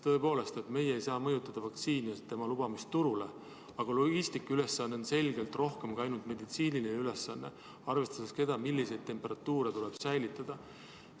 Tõepoolest, meie ei saa mõjutada vaktsiini tulekut ja selle lubamist turule, aga logistika ülesanne on selgelt rohkem kui ainult meditsiiniline, arvestades seda, milliseid temperatuure tuleb säilitada.